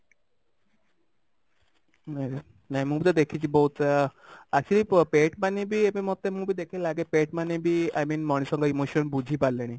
ନାଇଁ ନାଇଁ ମୁଁ ବି ତ ଦେଖିଛି ବହୁତ ଆ ଆସିକି pet ମାନେ ବି ଏବେ ମୋତେ ମୁଁ ବି ଦେଖିଲେ ଲାଗେ pet ମାନେ ବି i mean ମଣିଷଙ୍କ emotion ବୁଝିପାରିଲେଣି